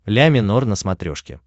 ля минор на смотрешке